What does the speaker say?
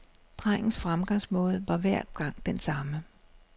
Drengens fremgangsmåde var hver gang den samme.